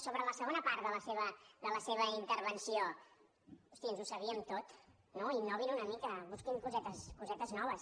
sobre la segona part de la seva intervenció hosti ens ho sabíem tot no innovin una mica busquin cosetes noves